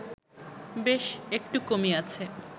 বেশ একটু কমিয়াছে